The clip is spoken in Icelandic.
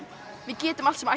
við getum allt sem